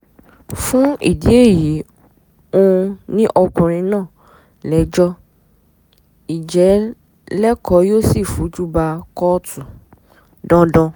fún ìdí èyí ó um ní ọkùnrin náà lẹ́jọ́ í jẹ́ lẹ́kọ̀ọ́ yóò sì fojú ba kóòtù um dandan